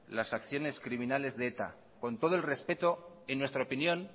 las acciones criminales de eta con todo el respeto en nuestra opinión